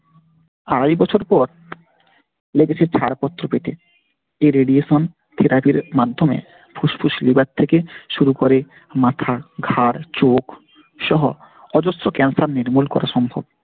আড়াই বছর পর লেগেছে ছাড়পত্র পেতে। এই Radiation therapy র মাধ্যমে ফুসফুস লিভার থেকে শুরু করে মাথা ঘাড় চোখ সহ অজস্র cancer নির্মূল করা সম্ভব।